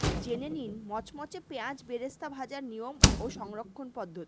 জেনে নিন মচমচে পেঁয়াজ বেরেস্তা ভাজার নিয়ম ও সংরক্ষণ পদ্ধতি